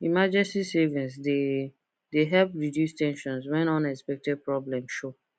emergency savings dey dey help reduce ten sion when unexpected problem show